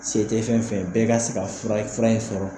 Se tɛ fɛn fɛn ye bɛɛ ka se ka fura fura in sɔrɔ.